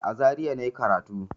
A Zaria na yi karatu.